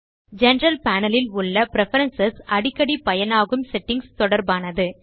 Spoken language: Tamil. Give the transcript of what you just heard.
ஜெனரல் பேனல் இல் உள்ள பிரெஃபரன்ஸ் அடிக்கடி பயனாகும் செட்டிங்ஸ் தொடர்பானது